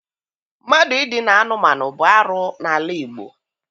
Mmadụ Idina anụmanụ bụ arụ n'ala Igbo.